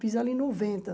Fiz ela em noventa.